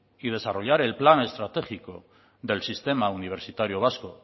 y desarrollar el plan estratégico del sistema universitario vasco